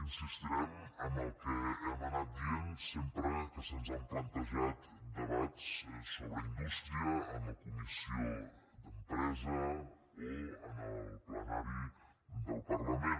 insistirem en el que hem anat dient sempre que se’ns han plantejat debats sobre indústria en la comissió d’empresa o en el plenari del parlament